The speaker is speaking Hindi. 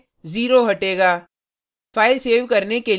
हमारे केस में जीरो हटेगा